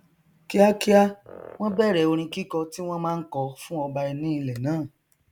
kíákíá wọn bẹrẹ orin kíkọ tí wọn máa n kọ fún ọba ní ilẹ náà